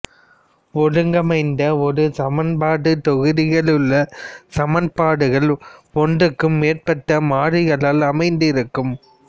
ஒருங்கமைந்த ஒரு சமன்பாட்டுத் தொகுதியிலுள்ள சமன்பாடுகள் ஒன்றுக்கு மேற்பட்ட மாறிகளில் அமைந்திருக்கும்